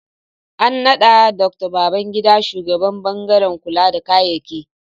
An naɗa Dr. Babangida shugaban ɓangaren kula da kayyaki